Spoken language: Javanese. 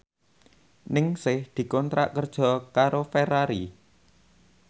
Ningsih dikontrak kerja karo Ferrari